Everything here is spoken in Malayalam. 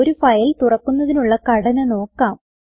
ഒരു ഫയൽ തുറക്കുന്നതിനുള്ള ഘടന നോക്കാം